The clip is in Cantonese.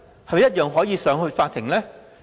是否也可以呈上法庭？